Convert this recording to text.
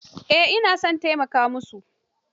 Eh ina son taimaka musu.